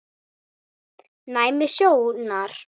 Næmni sjónar